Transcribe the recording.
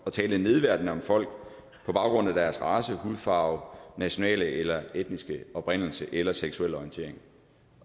at tale nedværdigende om folk på baggrund af deres race hudfarve nationale eller etniske oprindelse eller seksuelle orientering